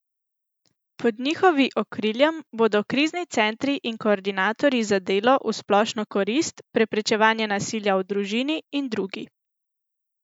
Pod njihovi okriljem bodo krizni centri in koordinatorji za delo v splošno korist, preprečevanje nasilja v družini in drugi.